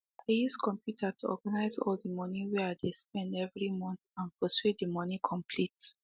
i use computer to organize all the money way i dey spend every month and pursue the money complete